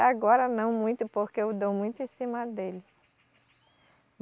Agora não muito, porque eu dou muito em cima dele.